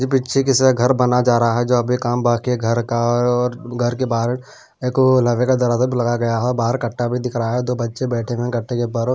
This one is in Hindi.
पीछे किसी का घर बना जा रहा है जो अभी काम बाकी है घर का और घर के आ आ बाहर एक को अ अ लवे का दरवाजा भी लगा गया है बाहर कट्टा भी दिख रहा है दो बच्चे बैठे हुए घटते के बार।